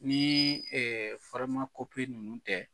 Ni ninnu tɛ